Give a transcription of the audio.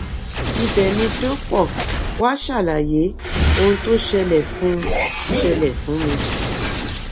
ibẹ ni dọpọ wàá ṣàlàyé ohun tó ṣẹlẹ fún ṣẹlẹ fún mi